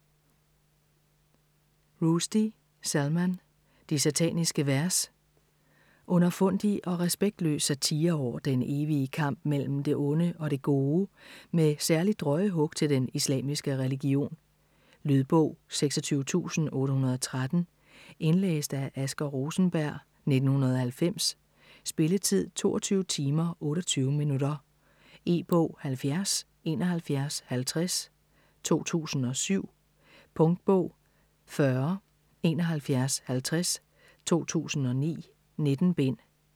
Rushdie, Salman: De sataniske vers Underfundig og respektløs satire over den evige kamp mellem det onde og det gode, med særlig drøje hug til den islamiske religion. Lydbog 26813 Indlæst af Asger Rosenberg, 1990. Spilletid: 22 timer, 28 minutter. E-bog 707150 2007. Punktbog 407150 2009. 19 bind.